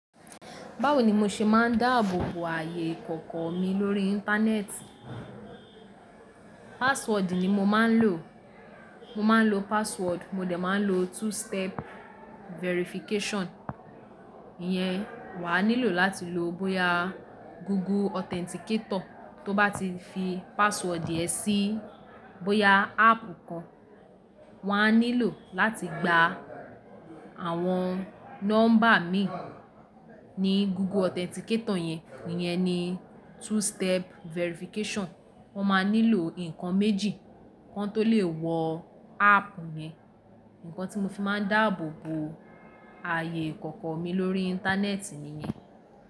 Báwo ni mo ṣe máa ń dáàbò bo ààyè ìkọ̀kọ̀ mi lórí Íńtánẹ́ẹ̀tì? Password ni mo máa ń lò. Mo ma ń lo password mo dẹ̀ ma ń lo two step verification. Iyẹn, wà á nílò láti lò bóyá Google Authenticator. Tó bá ti fi password díẹ̀ sí bóyá ápp kan, wà á nílò láti gba àwọn nọ́mbà mi ní Google Authenticator yẹn. Iyẹn ni two step verification. Wọ́n máa nílò nǹkan méjì kan tó lè wọ ápp mi. Ìǹkan tí mo fi máa ń dáàbò bo ààyè ìkọ̀kọ̀ mi lórí Íńtánẹ́ẹ̀tì mi ni.